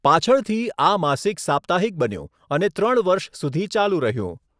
પાછળથી, આ માસિક સાપ્તાહિક બન્યું અને ત્રણ વર્ષ સુધી ચાલુ રહ્યું.